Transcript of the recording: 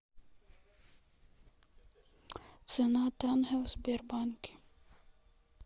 цена тенге в сбербанке